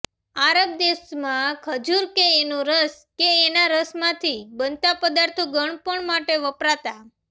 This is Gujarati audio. આરબ દેશોમાં ખજૂર કે એનો રસ કે એના રસમાંથી બનતા પદાર્થો ગળપણ માટે વપરાતા